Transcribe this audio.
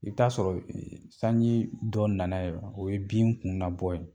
I bɛ taa sɔrɔ sanjii dɔ nana yɛ , o ye bin kun na bɔ yen.